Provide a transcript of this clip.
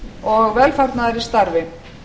og velfarnaðar í starfi